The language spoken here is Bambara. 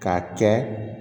K'a kɛ